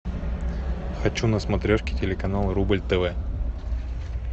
хочу на смотрешке телеканал рубль тв